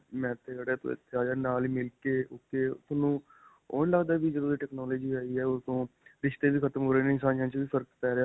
ਮੈਂ ਤੂੰ ਇਥੇ ਆਜਾ ਨਾਲ ਹੀ ਮਿਲਕੇ ok, ਤੁਹਾਨੂੰ ਓਹ ਨਹੀਂ ਲੱਗਦਾ ਵੀ ਜਦੋਂ ਦੀ technology ਆਈ ਹੈ, ਓਦੋਂ ਤੋਂ ਰਿਸ਼ਤੇ ਵੀ ਖ਼ਤਮ ਹੋ ਰਹੇ ਨੇ ਵਿੱਚ ਵੀ ਫਰਕ ਪੈ ਰਿਹਾ ਹੈ.